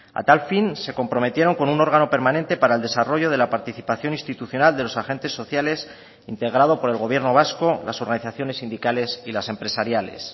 a tal fin se comprometieron con un órgano permanente para el desarrollo de la participación institucional de los agentes sociales integrado por el gobierno vasco las organizaciones sindicales y las empresariales